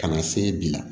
Ka na se bi la